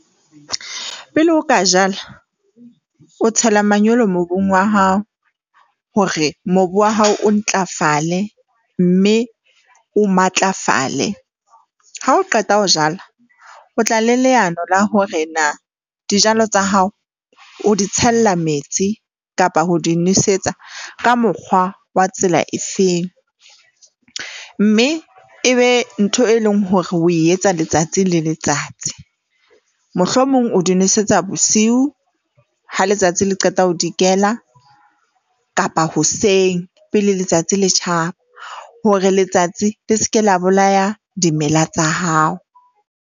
Pele o ka jala, o tshela manyolo mobung wa hao hore mobu wa hao o ntlafale mme o matlafale. Ha o qeta ho jala, o tla le leano la hore na dijalo tsa hao o di tshella metsi kapa ho di nosetsa ka mokgwa wa tsela efeng, mme ebe ntho e leng hore ho etsa letsatsi le letsatsi. Mohlomong o di nosetsa bosiu ha letsatsi le qeta ho dikela kapa hoseng pele letsatsi le tjhaba, hore letsatsi le se ke la bolaya dimela tsa hao.